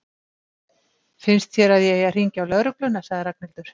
Finnst þér að ég eigi að hringja á lögregluna? sagði Ragnhildur.